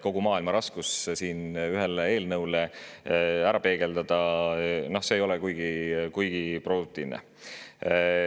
Kogu maailma raskust siin ühe eelnõu puhul ära peegeldada ei ole kuigi produktiivne.